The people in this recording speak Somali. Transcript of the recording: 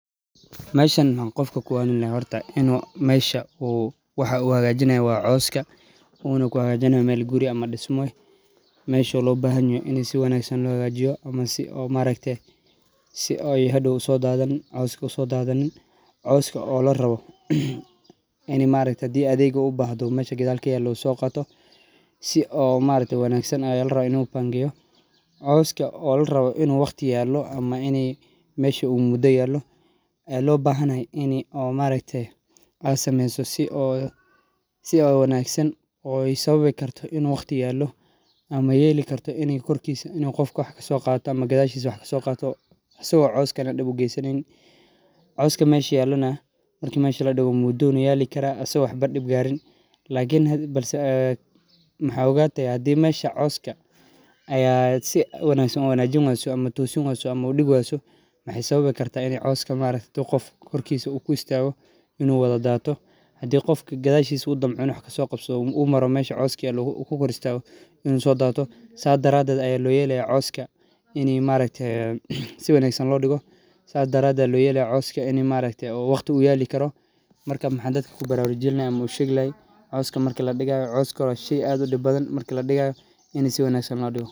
Meshan maxaa qofka kuwanini laha inu mesha waxu hagajini hayo waa coska coska oo la rabo adhega gadal kayalo oo lo bahan yoho in qofka gadashisa wax kaso qado bahse hada maxaa ogata in u coska hadii korkisa ku istago in u sodato sa daraded aya lo yelaya in u coska waa shey aad u dib badan in si wanagsan lo digo ayan ku bararujini lahay wan shey aad u muhiim san oo laga helo cudhuraada cadhiga ah sawabto ah marka cilmiga cafimaadka iyo warbahinta fafisa wacyiga bulshaada dadka badanku waxee ogyahan asxtamaha iyo daqenta cudhuraada sitha.